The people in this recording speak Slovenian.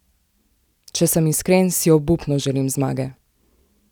Če sem iskren, si obupno želim zmage!